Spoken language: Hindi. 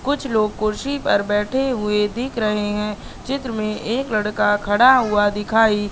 कुछ लोग कुर्सी पर बैठे हुए दिख रहे हैं चित्र में एक लड़का खड़ा हुआ दिखाई--